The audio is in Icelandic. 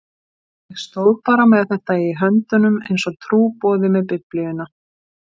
Ég stóð bara með þetta í höndunum einsog trúboði með Biblíuna.